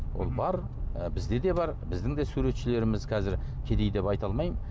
ол бар ы бізде де бар біздің де суретшілеріміз қазір кедей деп айта алмаймын